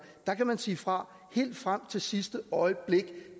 hvor man kan sige fra helt frem til sidste øjeblik